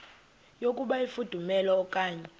yokuba ifudumele okanye